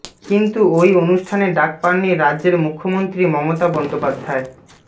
কিন্তু ওই অনুষ্ঠানে ডাক পাননি রাজ্যের মুখ্যমন্ত্রী মমতা বন্দ্যোপাধ্যায়